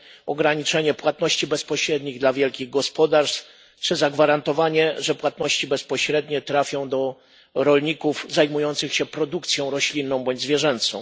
ograniczenie płatności bezpośrednich dla wielkich gospodarstw czy zagwarantowanie, że płatności bezpośrednie trafią do rolników zajmujących się produkcją roślinną bądź zwierzęcą.